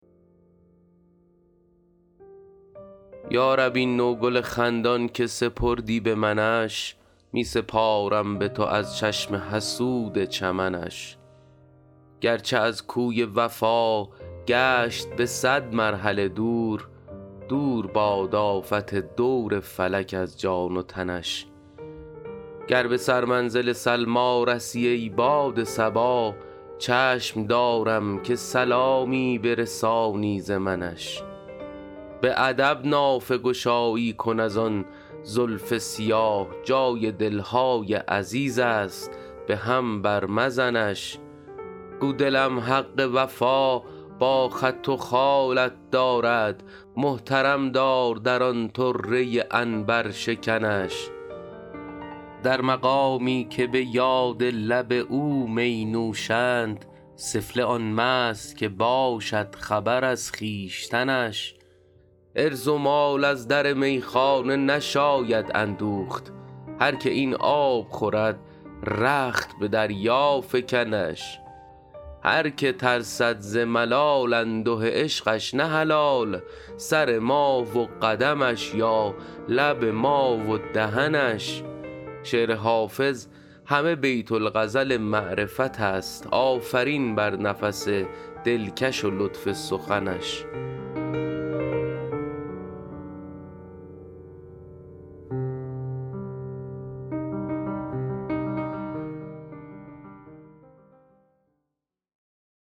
یا رب این نوگل خندان که سپردی به منش می سپارم به تو از چشم حسود چمنش گرچه از کوی وفا گشت به صد مرحله دور دور باد آفت دور فلک از جان و تنش گر به سرمنزل سلمی رسی ای باد صبا چشم دارم که سلامی برسانی ز منش به ادب نافه گشایی کن از آن زلف سیاه جای دل های عزیز است به هم بر مزنش گو دلم حق وفا با خط و خالت دارد محترم دار در آن طره عنبرشکنش در مقامی که به یاد لب او می نوشند سفله آن مست که باشد خبر از خویشتنش عرض و مال از در میخانه نشاید اندوخت هر که این آب خورد رخت به دریا فکنش هر که ترسد ز ملال انده عشقش نه حلال سر ما و قدمش یا لب ما و دهنش شعر حافظ همه بیت الغزل معرفت است آفرین بر نفس دلکش و لطف سخنش